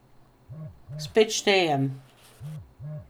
Spet štejem.